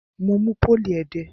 Mo mú pólì ẹdẹ.